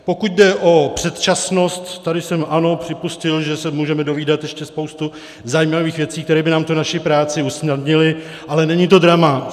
Pokud jde o předčasnost, tady jsem, ano, připustil, že se můžeme dovídat ještě spoustu zajímavých věcí, které by nám tu naši práci usnadnily, ale není to drama.